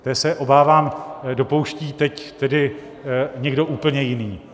Té se, obávám, dopouští teď tedy někdo úplně jiný.